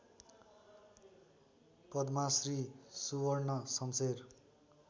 Padmashri Suvarna Shamsher